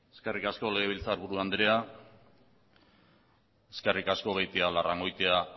eskerrik asko legebiltzarburu andrea eskerrik asko beitialarrangoitia